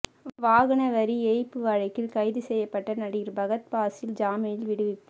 வாகன வரி ஏய்ப்பு வழக்கில் கைது செய்யப்பட்ட நடிகர் பகத் பாசில் ஜாமீனில் விடுவிப்பு